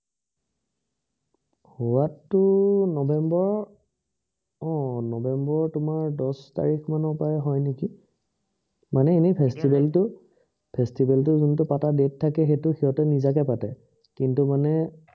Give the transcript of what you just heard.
হোৱাটো নৱেম্বৰ আহ নৱেম্বৰ তোমাৰ দশ তাৰিখ মানৰ পৰাই হয় নেকি, মানে এনেই festival টো festival টো যোনটো পাতা date থাকে এইটো সিঁহঁতে নিজাকে পাতে কিন্তু মানে